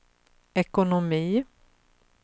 ekonomi